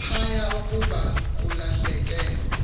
phaya ukuba kulahleke